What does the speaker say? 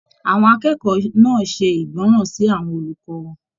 Àwọn akẹ́kọ̀ọ́ náà ṣe ìgbọràn sí àwọn olùkọ wọn.